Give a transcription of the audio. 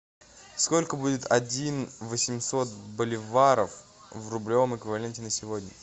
сколько будет один восемьсот боливаров в рублевом эквиваленте на сегодня